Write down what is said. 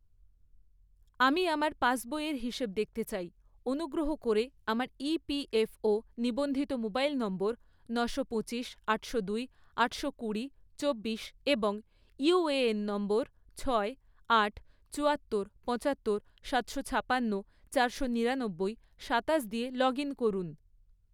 আমি আমার পাসবইয়ের হিসেব দেখতে চাই, অনুগ্রহ করে আমার ইপিএফও ​​নিবন্ধিত মোবাইল নম্বর নশো পঁচিশ, আটশো দুই, আটশো কুড়ি, চব্বিশ এবং ইউএএন নম্বর ছয়, আট, চুয়াত্তর, পঁচাত্তর, সাতশো ছাপান্ন, চারশো নিরানব্বই, সাতাশ দিয়ে লগ ইন করুন